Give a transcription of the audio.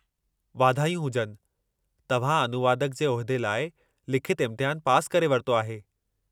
वाधायूं हुजनि! तव्हां अनुवादक जे उहिदे लाइ लिखितु इम्तिहानु पासि करे वरितो आहे।